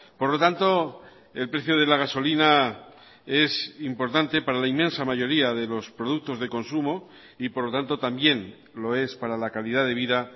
por lo tanto el precio de la gasolina es importante para la inmensa mayoría de los productos de consumo y por lo tanto también lo es para la calidad de vida